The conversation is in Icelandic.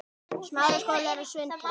Tókst henni hvað?